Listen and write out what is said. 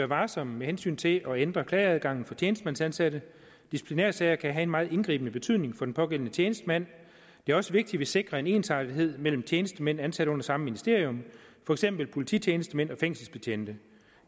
varsom med hensyn til at ændre klageadgangen for tjenestemandsansatte disciplinærsager kan have en meget indgribende betydning for den pågældende tjenestemand det er også vigtigt at man sikrer en ensartethed mellem tjenestemænd ansat under samme ministerium for eksempel polititjenestemænd og fængselsbetjente